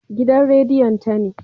Gidan rediyon ta ne